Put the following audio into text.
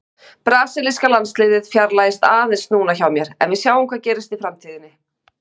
Brasilíska landsliðið fjarlægist aðeins núna hjá mér en sjáum hvað gerist í framtíðinni!